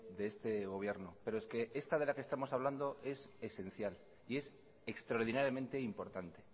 de este gobierno pero es que esta de la que estamos hablando es esencial y es extraordinariamente importante